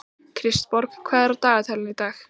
Kristborg, hvað er á dagatalinu í dag?